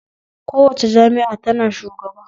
Kowace jami'a ta na shugaba